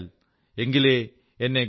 പക്ഷികളിൽ ഞാൻ പരുന്തിനെ വീഴ്ത്തിയാൽ